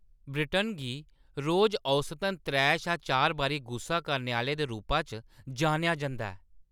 Britain गी रोज औसतन त्रै शा चार बारी गुस्सा करने आह्‌ले दे रूप च जान्नेआ जंदा ऐ ।